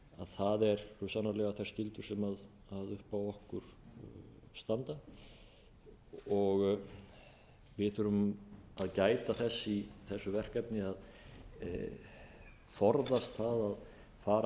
það eru svo sannarlega þær skyldur sem upp á okkur standa við þurfum að gæta þess í þessu verkefni að forðast það að fara